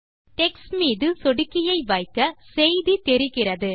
text மீது சொடுக்கியை வைக்க செய்தி தெரிகிறது